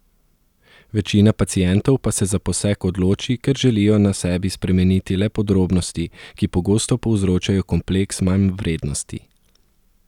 Večina pacientov pa se za poseg odloči, ker želijo na sebi spremeniti le podrobnosti, ki pogosto povzročajo kompleks manjvrednosti.